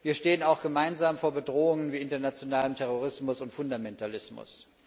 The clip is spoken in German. Wir stehen auch gemeinsam vor Bedrohungen wie dem internationalen Terrorismus und Fundamentalismus.